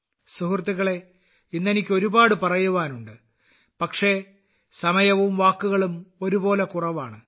സുഹൃത്തുക്കളേ ഇന്ന് എനിക്ക് ഒരുപാട് പറയാനുണ്ട് പക്ഷെ സമയവും വാക്കുകളും ഒരുപോലെ കുറവാണ്